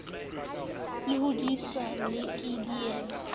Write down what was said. le hodiswa le ke dillo